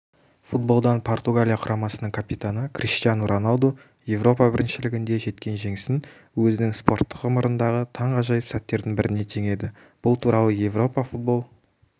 футболдан португалия құрамасының капитаны криштиану роналду еуропа біріншілігінде жеткен жеңісін өзінің спорттық ғұмырындағы таңғажайып сәттердің біріне теңеді бұл туралы еуропа футбол